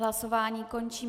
Hlasování končím.